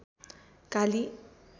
काली